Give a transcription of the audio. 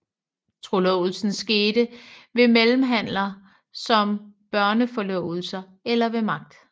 Trolovelsen skete ved mellemhandler som børneforlovelser eller ved magt